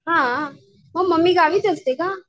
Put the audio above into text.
हां म मम्मी गावीच असते का?